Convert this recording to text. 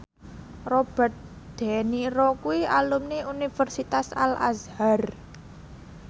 Robert de Niro kuwi alumni Universitas Al Azhar